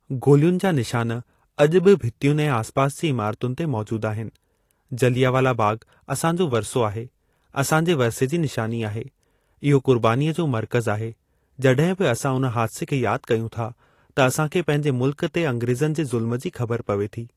गोलियुनि जा निशान अॼु बि भितियुनि ऐं आसपास जी इमारतुनि ते मौजूद आहिनि। जलियां वाला बाग़ असांजो वरिसो आहे। असांजे वरिसे जी निशानी आहे। इहो क़ुर्बानीअ जो मर्कज़ आहे। जड॒हिं बि असां उन हादिसे खे यादि कयूं था त असांखे पंहिंजे मुल्क ते अंग्रेज़नि जे ज़ुल्म जी ख़बर पवे थी।